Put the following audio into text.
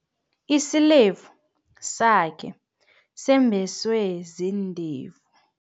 Isilevu sakhe sembeswe ziindevu.